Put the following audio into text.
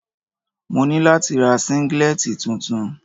Mo ní láti ra Síngílẹ́tì tuntun.